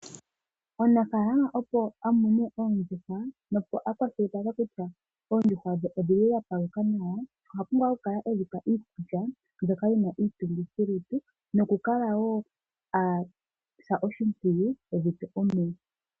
Omunafaalama opo a mune oondjuhwa na opo akwashilipalekwe kutya oondjuhwa dhe odhili dha paluka nawa oha pumbwa oku kala edhipa iikulya mbyoka yina iitungithilutu noku kala woo asa oshipwiyu edhipe omeya.